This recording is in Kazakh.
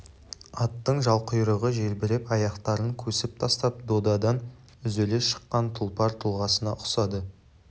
аттың жалқұйрығы желбіреп аяқтарын көсіп тастап додадан үзіле шыққан тұлпар тұлғасына ұқсады